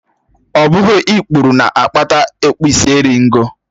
Ọ bụghị ikpuru na-akpata okpisieringọ